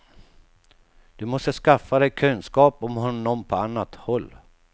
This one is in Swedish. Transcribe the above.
Du måste skaffa dig kunskap om honom på annat håll.